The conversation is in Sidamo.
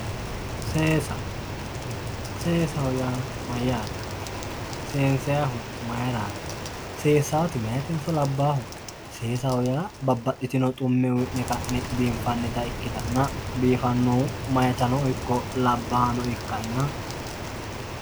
Seesa seesaho ya mayate seensayihu mayirati seesati mayitenso labaho sesaho ya babaxitino xume uyine ka'ne bifanita ikitana bifanohu mayitano iko labaha ikanna